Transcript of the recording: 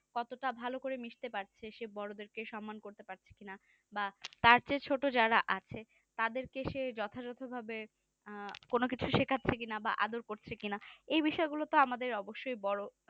কতটা ভালো করে মিশতে পারছে সেই বড়োদেরকে সম্পন করতে পারছে কেনা বা তার চেয়ে ছোটো যারা আছে তাদেরকে সে যথা যথ ভাবে কোনো কিছু শেখারছে কিনা বা আদার করছে কি না এই বিষয় গুলা আমাদের অবশ্য বড়ো